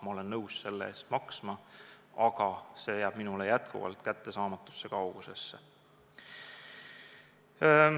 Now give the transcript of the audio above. Ma olen nõus selle eest maksma, aga see jääb jätkuvalt kättesaamatusse kaugusesse.